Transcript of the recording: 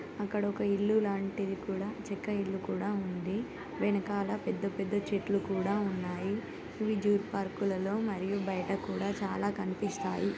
అక్కడ ఒక ఇల్లు లాంటిది కూడా చెక్క ఇల్లు కూడా ఉంది వెనకాల పెద్ద పెద్ద చెట్లు కూడా ఉన్నాయి ఇవి జూ పార్క్ లలో మరియు బయట కూడా చాలా కనిపిస్తాయి